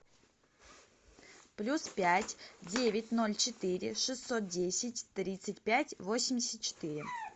плюс пять девять ноль четыре шестьсот десять тридцать пять восемьдесят четыре